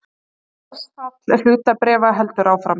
Verðfall hlutabréfa heldur áfram